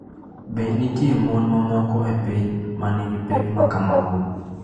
Be nitie mon mamoko e piny ma nigi pek ma kamago?